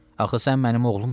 Axı sən mənim oğlumsan.